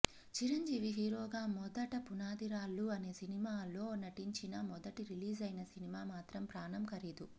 చిరంజీవి హీరోగా మొదట పునాది రాళ్లు అనే సినిమాలో నటించినా మొదట రిలీజైన సినిమా మాత్రం ప్రాణం ఖరీదు